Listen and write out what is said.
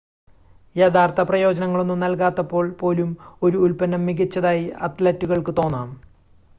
യഥാർത്ഥ പ്രയോജനങ്ങളൊന്നും നൽകാത്തപ്പോൾ പോലും ഒരു ഉൽപ്പന്നം മികച്ചതായി അത്‌ലറ്റുകൾക്ക് തോന്നാം